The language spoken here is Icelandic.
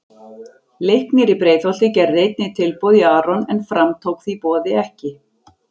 Leiknir í Breiðholti gerði einnig tilboð í Aron en Fram tók því boði ekki.